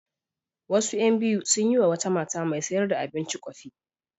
Wasu ƴan biyu sun yi wa wata mata mai sayar da abinci ƙofi.